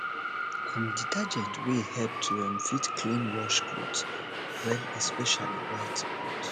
um detergent dey help to um fit clean wash cloth um well especially white cloth